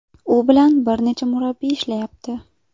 U bilan bir necha murabbiy ishlayapti.